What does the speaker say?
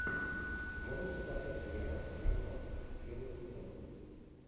можешь показать сериал скандал первый сезон